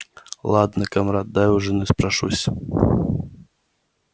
ладно камрад дай у жены спрошусь